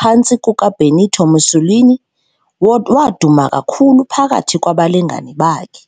phantsi kukaBenito Mussolini, waduma kakhulu phakathi kwabalingani bakhe.